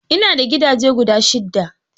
Ina da gidaje guda shidda.